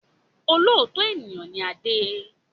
Olóòótọ́ ènìyàn ni Adé